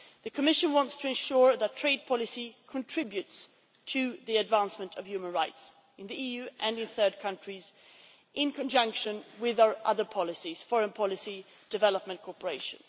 The Commission wants to ensure that trade policy contributes to the advancement of human rights in the EU and in third countries, in conjunction with our other policies foreign policy and development cooperation.